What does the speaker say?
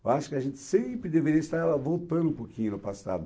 Eu acho que a gente sempre deveria estar lá voltando um pouquinho no passado.